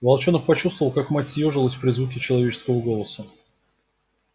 волчонок почувствовал как мать съёжилась при звуке человеческого голоса